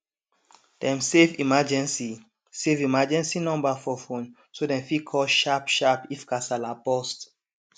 dem save emergency save emergency number for phone so dem fit call sharpsharp if kasala burst